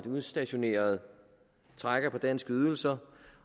udstationerede trækker på danske ydelser